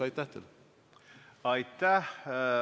Aitäh!